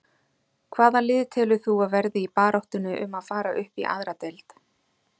Hvaða lið telur þú að verði í baráttunni um að fara upp í aðra deild?